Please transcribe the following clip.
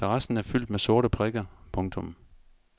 Terrassen er fyldt med sorte prikker. punktum